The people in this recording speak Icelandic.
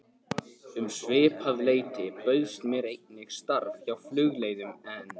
Um svipað leyti bauðst mér einnig starf hjá Flugleiðum en